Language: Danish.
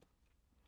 DR1